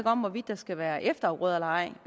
om hvorvidt der skal være efterafgrøder eller ej